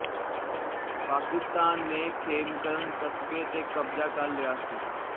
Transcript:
ਪਾਕਿਸਤਾਨ ਨੇ ਖੇਮਕਰਨ ਕਸਬੇ ਤੇ ਕਬਜ਼ਾ ਕਰ ਲਿਆ ਸੀ